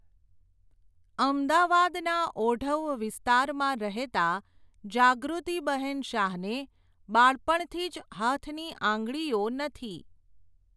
અમદાવાદના ઓઢવ વિસ્તારમાં રહેતા, જાગૃતિબહેન શાહને બાળપણથી જ હાથની આંગળીઓ નથી.